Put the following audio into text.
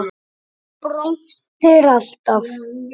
Brostir alltaf.